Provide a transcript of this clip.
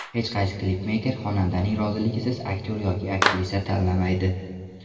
Hech qaysi klipmeyker xonandaning roziligisiz aktyor yoki aktrisa tanlamaydi.